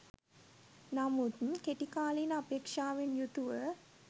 නමුත් කෙටි කාලීන අපේක්ෂාවෙන් යුතුව